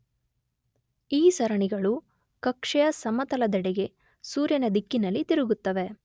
ಈ ಸರಣಿಗಳು ಕಕ್ಷೆಯ ಸಮತಲದೆಡೆಗೆ ಸೂರ್ಯನ ದಿಕ್ಕಿನಲ್ಲಿ ತಿರುಗುತ್ತವೆ